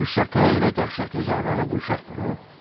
Hürsaka elə dəhşətli zərbəni bu uşaq vurub?